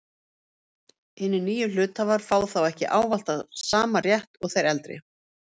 Hinir nýju hluthafar fá þá ekki ávallt sama rétt og þeir eldri.